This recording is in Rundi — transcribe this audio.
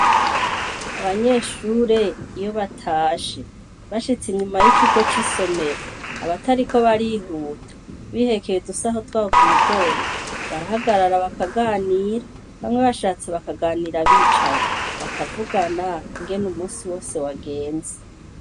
Abanyeshure iyo batashe, bashitse inyuma y'ikigo c'isomero, abatariko barihuta, bihekeye udusaho twabo ku mugongo, barahagarara bakaganira; Bamwe bashatse bakaganira bicaye, bakavugana ingene umunsi wose wagenze.